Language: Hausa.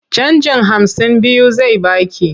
Canjin hamsin biyu zai ba ki.